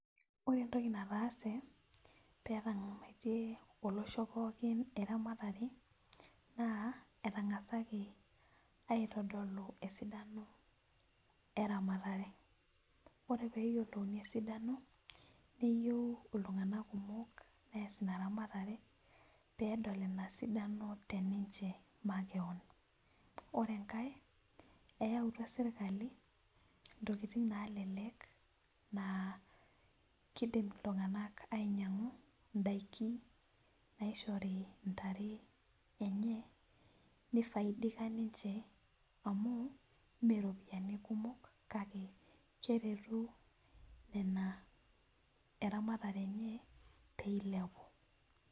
Ore entoki nataase metngamatiie olosho pookin eramatare na etangasaki aitodolu esidano eramatare ore peyiolouni esidano neyieu ltunganak kumok neyiolou esidano teninche makeon ore enkae eyautua serkali ntokitin nalelek na kidim ltunganak inyangu ndakininaishori ntare enyebnifaiidika ninche amu meropiyani kumok kake keretu nona eramatare enye peilepu